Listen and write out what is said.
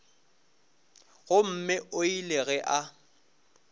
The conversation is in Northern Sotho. gomme o ile ge a